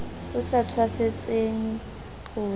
o sa tshwasetseng ho ja